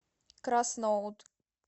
красноут